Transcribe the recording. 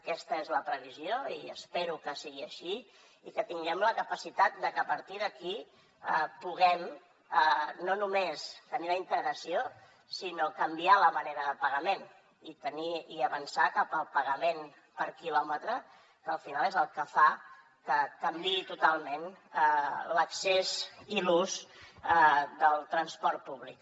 aquesta és la previsió i espero que sigui així i que tinguem la capacitat de que a partir d’aquí puguem no només tenir la integració sinó canviar la manera de pagament i avançar cap al pagament per quilòmetre que al final és el que fa que canviï totalment l’accés i l’ús del transport públic